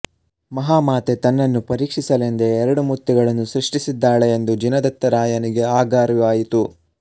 ಮಹಾಮಾತೆ ತನ್ನನ್ನು ಪರೀಕ್ಷಿಸಲೆಂದೇ ಎರಡು ಮುತ್ತುಗಳನ್ನು ಸೃಷ್ಟಿಸಿದ್ದಾಳೆ ಎಂದು ಜಿನದತ್ತರಾಯನಿಗೆ ಆಗ ಅರಿವಾಯಿತು